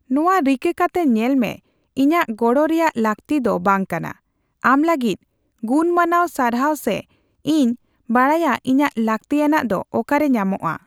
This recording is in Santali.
ᱱᱚᱣᱟ ᱨᱤᱠᱟᱹ ᱠᱟᱛᱮ ᱧᱮᱞ ᱢᱮ ᱤᱧᱟᱜ ᱜᱚᱲᱚ ᱨᱮᱭᱟᱜ ᱞᱟᱹᱠᱛᱤ ᱫᱚ ᱵᱟᱝ ᱠᱟᱱᱟ, ᱟᱢ ᱞᱟᱹᱜᱤᱫ ᱜᱩᱱ ᱢᱟᱱᱟᱣ ᱥᱟᱨᱦᱟᱣ ᱥᱮ 'ᱤᱧ ᱵᱟᱰᱟᱭᱟ ᱤᱧᱟᱜ ᱞᱟᱠᱛᱤᱭᱟᱱᱟᱜ ᱫᱚ ᱚᱠᱟ ᱨᱮ ᱧᱟᱢᱚᱜᱼᱟ ᱾